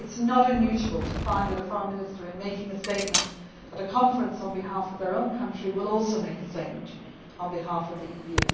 It is not unusual to find that a Foreign Minister in making a statement at a conference on behalf of their own country will also make a statement on behalf of the